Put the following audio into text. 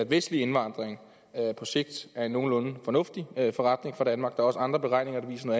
vestlig indvandring på sigt er en nogenlunde fornuftig forretning for danmark der er også andre beregninger der viser